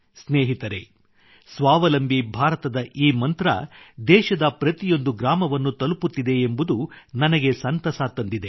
ಸ್ನೇಹಿತರೆ ಸ್ವಾವಲಂಬಿ ಭಾರತದ ಈ ಮಂತ್ರ ದೇಶದ ಪ್ರತಿಯೊಂದು ಗ್ರಾಮವನ್ನು ತಲುಪುತ್ತಿದೆ ಎಂಬುದು ನನಗೆ ಸಂತಸ ತಂದಿದೆ